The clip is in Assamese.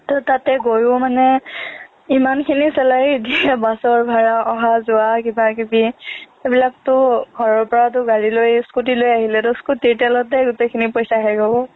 তাতে গৈয়ো মানে ইমানখিনি salary নিদিয়ে বাছৰ ভাড়া অহা যোৱা কিবাকিবি এইবিলাকতো ঘৰৰ পৰাতো গাড়ী লৈ scooty লৈ আহিলেতো scooty ৰ তেলতে গোটেইখিনি পইচা শেষ হ'ব